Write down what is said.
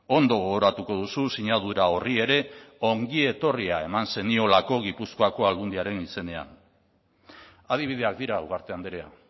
ondo gogoratuko duzu sinadura horri ere ongietorria eman zeniolako gipuzkoako aldundiaren izenean adibideak dira ugarte andrea